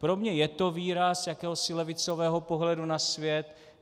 Pro mě je to výraz jakéhosi levicového pohledu na svět.